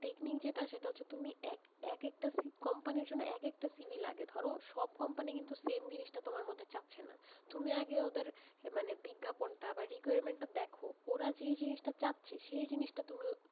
Technique যেটা, সেটা হচ্ছে তুমি এক, এক একটা company র জন্য এক একটা CV লাগে, ধরো সব company কিন্তু same জিনিস টা তোমার মধ্যে চাচ্ছে না, তুমি আগে ওদের, মানে বিজ্ঞাপন টা বা requirement টা দেখো, ওরা যে জিনিস টা চাচ্ছে সেই জিনিস টা তুমি,